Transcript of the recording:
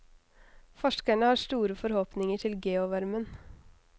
Forskerne har store forhåpninger til geovarmen.